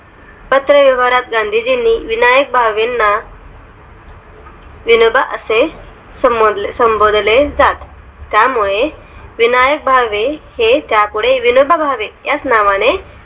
पात्र व्यवहारात गांधीजींनी विनायक भावेणा विनोबा असे संबोधले जात त्यामुळे विनायक भावे त्यापुढे विनोबा भावे याच नावाने